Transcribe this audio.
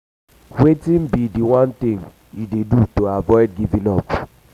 wetin um be um di one thing you dey do to avoid giving up?